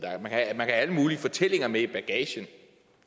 have alle mulige fortællinger med i bagagen det